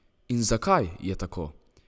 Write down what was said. In zakaj je tako?